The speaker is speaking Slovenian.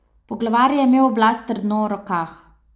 Poglavar je imel oblast trdno v rokah.